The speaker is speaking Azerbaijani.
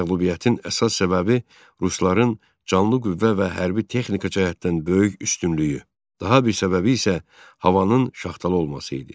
Məğlubiyyətin əsas səbəbi rusların canlı qüvvə və hərbi texnika cəhətdən böyük üstünlüyü, daha bir səbəbi isə havanın şaxtalı olması idi.